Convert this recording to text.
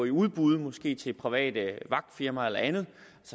i udbud måske til private vagtfirmaer eller andet